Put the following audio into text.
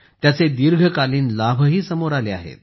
त्याचे दीर्घकालीन लाभही समोर आले आहेत